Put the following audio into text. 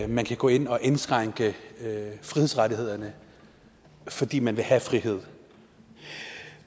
man kan gå ind og indskrænke frihedsrettighederne fordi man vil have frihed